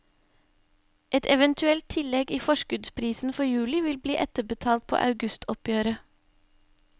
Et eventuelt tillegg i forskuddsprisen for juli vil bli etterbetalt på augustoppgjøret.